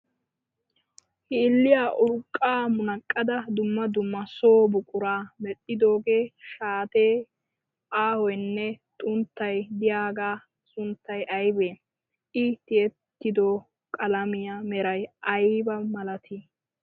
Hilliya urqqaa munaqqada dumma dumma so buquraa mel"idoogee shaatee aahoyinne xunttay diyagaa sunttay ayibee? I tiyettido qalamiya meray ayiba malatii?